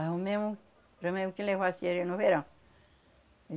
Arrumemos que levasse ele no verão.